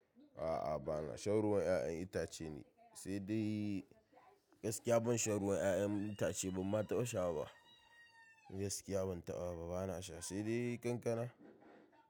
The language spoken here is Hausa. A'a bana shan ruwan 'ya'yan itace ni, sai dai gaskiya ban shan ruwan ya'yan itace bamma taɓa sha ba. Gaskiya ban taɓa ba, bana sha sai dai kankana.